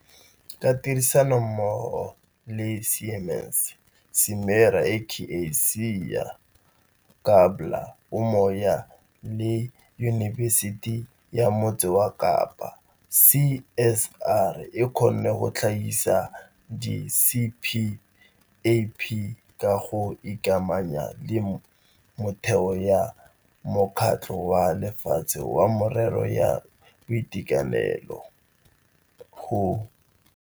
Ka tirisanommogo le Siemens, Simera, Aka-cia, Gabler, Umoya le Yunibesiti ya Motse Kapa, CSR e kgonne go tlhagisa di-CPAP ka go ikamanya le motheo ya Mokgatlho wa Lefatshe wa Merero ya Boitekanelo, WHO.